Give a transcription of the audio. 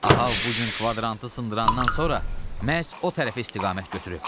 Ahab bu gün kvadrantı sındırandan sonra məhz o tərəfə istiqamət götürüb.